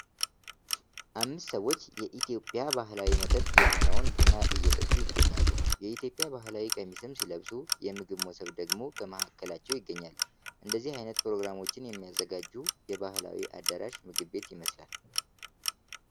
አምስት ሰዎች የኢትዮጵያ ባህላዊ መጠጥ የሆነውን ቡና እየጠጡ ይገኛሉ የኢትዮጵያ ባህላዊ ቀሚም ሲለብሱ የምግብ መሶብ ደግሞ ከማላቸው ይገኛል። እንደዚህ አይነት ፕሮግራሞችን የሚያዘጋጁ የባህላዊ አዳራሽ ምግብ ቤት ይመስላል።